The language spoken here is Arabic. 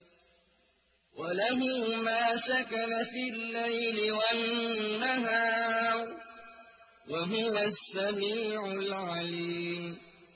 ۞ وَلَهُ مَا سَكَنَ فِي اللَّيْلِ وَالنَّهَارِ ۚ وَهُوَ السَّمِيعُ الْعَلِيمُ